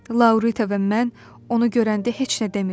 Laurita və mən onu görəndə heç nə demirik.